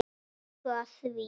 Þeir gengu að því.